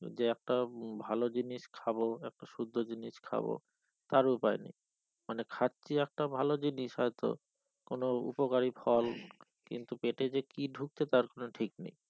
যে একটা ভালো জিনিস খাবো একটা শুদ্ধ জিনিস খাবো তার উপায় নেই মানে খাচ্ছি একটা ভালো জিনিস হয়তো কোন উপকারী ফল কিন্তু পেটে যে কি ঢুকছে তার কোন ঠিক নেই